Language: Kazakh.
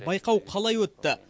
байқау қалай өтті